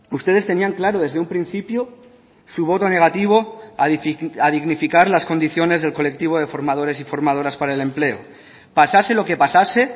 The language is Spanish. ustedes tenían claro desde un principio su voto negativo a dignificar las condiciones del colectivo de formadores y formadoras para el empleo pasase lo que pasase